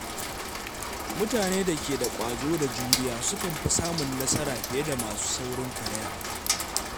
Mutane da ke da ƙwazo da juriya sukan fi samun nasara fiye da masu saurin karaya.